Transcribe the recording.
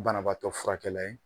Banabatɔ furakɛla ye.